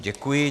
Děkuji.